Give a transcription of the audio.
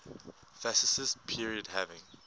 fascist period having